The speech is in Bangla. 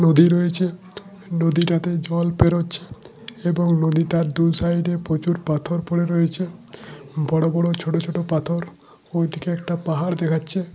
নদী রয়েছে নদীটাতে জল পেরচ্ছে এবং নদীতার দু সাইডে প্রচুর পাথর পরে রয়েছে বড় বড় ছোট ছোট পাথর ওইদিকে একটা পাহাড় দেখাচ্ছে।